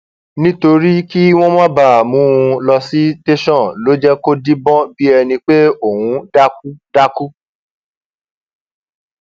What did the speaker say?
nítorí kí wọn má bàa mú un lọ sí tẹsán ló jẹ kó díbọn bíi ẹni pé òun dákú dákú